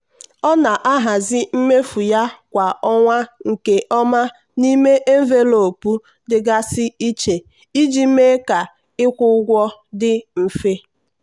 ọ na-ahazi mmefu ya kwa ọnwa nke ọma n'ime envelopu dịgasị iche iji mee ka ịkwụ ụgwọ ụgwọ dị mfe.